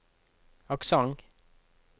aksent